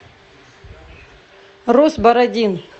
рус бородин